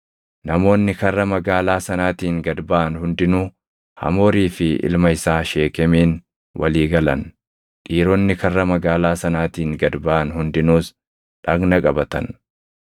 Namoonni karra magaalaa sanaatiin gad baʼan hundinuu Hamoorii fi ilma isaa Sheekemiin walii galan; dhiironni karra magaalaa sanaatiin gad baʼan hundinuus dhagna qabatan.